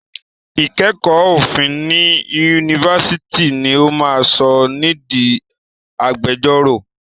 Ìkẹ́kọ̀ọ́ òfin ní Yunifásitì ni ó máa sọ ni di agbẹjọ́rò.